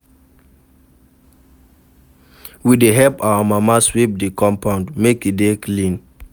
We dey help our mama sweep di compound, make e dey clean.